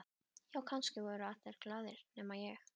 Já, kannski voru allir glaðir nema ég.